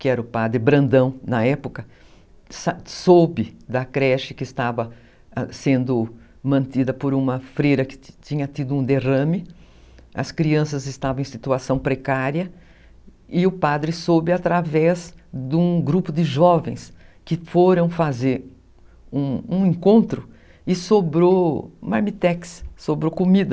Que era o padre Brandão na época, soube da creche que estava sendo mantida por uma freira que tinha tido um derrame, as crianças estavam em situação precária e o padre soube através de um grupo de jovens, que foram fazer um encontro e sobrou marmitex, sobrou comida.